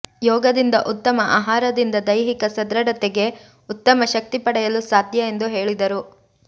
ಯೋಗದಿಂದ ಉತ್ತಮ ಆಹಾರದಿಂದ ದೈಹಿಕ ಸಡೃತ್ತೆಗೆ ಉತ್ತಮ ಶಕ್ತಿ ಪಡೆಯಲು ಸಾಧ್ಯ ಎಂದು ಹೇಳಿದರು